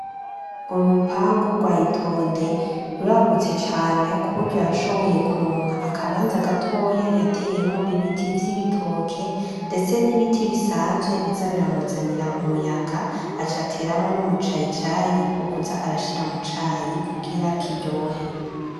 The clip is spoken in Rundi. Urupangu gwa Itonde ruragutse cane kuburyo yashoboye kuronka akabanza gatoya yateyemwo ibiti vy'ibitoke ndetse n'ibiti bisanzwe biza biramuzanira umuyaga aca ateramwo n'umucayicayi wo kuza arashira mucayi kugira kiryohe.